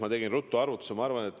Ma tegin ruttu arvutusi.